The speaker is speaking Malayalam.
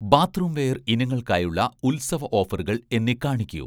ബാത്ത്റൂംവെയർ ഇനങ്ങൾക്കായുള്ള ഉത്സവ ഓഫറുകൾ എന്നെ കാണിക്കൂ